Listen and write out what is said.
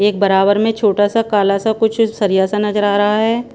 एक बराबर में छोटा सा काला सा कुछ सरिया सा नजर आ रहा हैं।